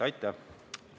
Aitäh!